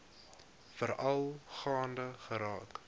veral gaande geraak